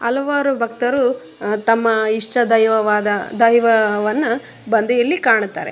ಹಲವಾರು ಭಕ್ತರು ತಮ್ಮ ಇಷ್ಟ ದೈವವಾದ ದೈವವನ್ನ ಬಂದಿ ಇಲ್ಲಿ ಕಾಣುತ್ತಾರೆ.